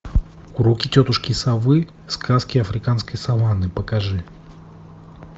уроки тетушки совы сказки африканской саванны покажи